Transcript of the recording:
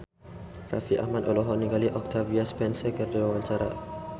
Raffi Ahmad olohok ningali Octavia Spencer keur diwawancara